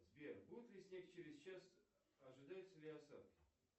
сбер будет ли снег через час ожидаются ли осадки